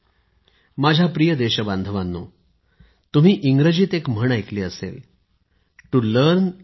मी या गोष्टी विशेषत आपल्या युवकांसाठी सांगत आहे जेणेकरून आपले युवक राष्ट्रहितासाठी तंत्रज्ञानाच्या नवनवीन क्षेत्रांकडे प्रोत्साहित होऊ शकतील